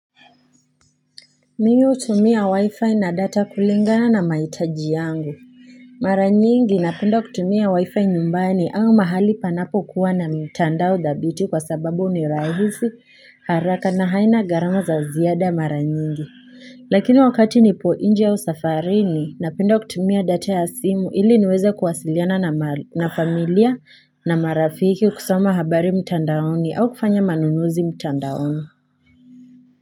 Mimi hutumia wifi na data kulingana na maitaji yangu. Maranyingi napindu kutumia wifi nyumbani au mahali panapo kuwa na mtandao dhabiti kwa sababu unirahisi haraka na haina garamu za ziada maranyingi. Lakini wakati nipo inje au safarini napenda kutumia data ya simu ili niweze kuwasiliana na familia na marafiki kusoma habari mtandaoni au kufanya manunuzi mtandaoni.